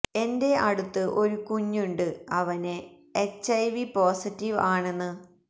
എന്റെ അടുത്ത് ഒരു കുഞ്ഞുണ്ട് അവന് എച്ച് ഐ വി പൊസിറ്റീവ് ആണെന്ന്